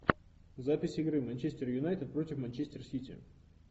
запись игры манчестер юнайтед против манчестер сити